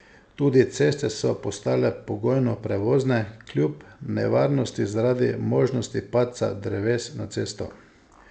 Tudi ceste so postale pogojno prevozne, kljub nevarnosti zaradi možnosti padca dreves na cesto.